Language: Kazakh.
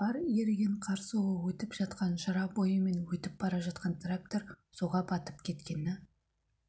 бар еріген қар суы өтіп жатқан жыра бойымен өтіп бара жатқан трактор суға батып кеткені